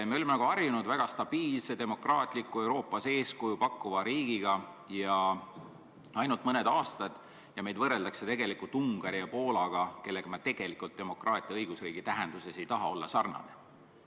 Me oleme harjunud väga stabiilse demokraatliku, Euroopas eeskuju pakkuva riigiga ainult mõned aastad ja meid võrreldakse Ungari ja Poolaga, kellega me tegelikult demokraatia ja õigusriigi tähenduses ei taha sarnaneda.